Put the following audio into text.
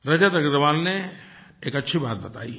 रजत अग्रवाल ने एक अच्छी बात बतायी है